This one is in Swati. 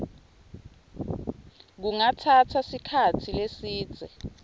kungatsatsa sikhatsi lesidze